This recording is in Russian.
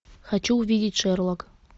хочу увидеть шерлок